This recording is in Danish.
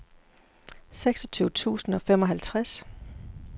seksogtyve tusind og femoghalvtreds